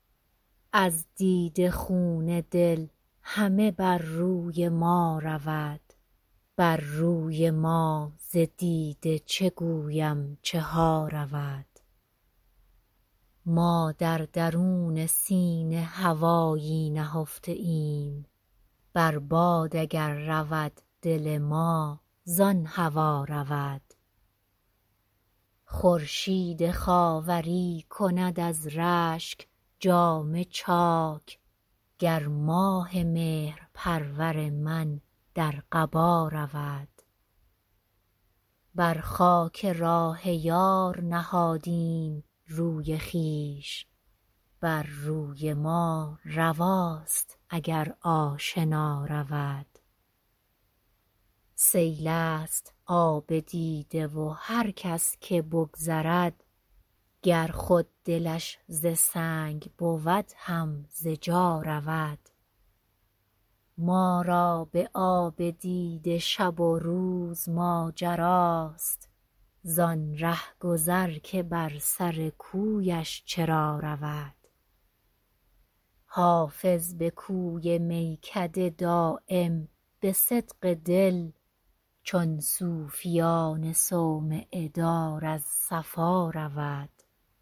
از دیده خون دل همه بر روی ما رود بر روی ما ز دیده چه گویم چه ها رود ما در درون سینه هوایی نهفته ایم بر باد اگر رود دل ما زان هوا رود خورشید خاوری کند از رشک جامه چاک گر ماه مهرپرور من در قبا رود بر خاک راه یار نهادیم روی خویش بر روی ما رواست اگر آشنا رود سیل است آب دیده و هر کس که بگذرد گر خود دلش ز سنگ بود هم ز جا رود ما را به آب دیده شب و روز ماجراست زان رهگذر که بر سر کویش چرا رود حافظ به کوی میکده دایم به صدق دل چون صوفیان صومعه دار از صفا رود